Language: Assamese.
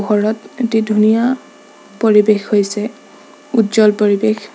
ওপৰত এটি ধুনীয়া পৰিৱেশ হৈছে উজ্জ্বল পৰিৱেশ।